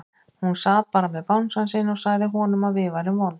Hún sat bara með bangsann sinn og sagði honum að við værum vond.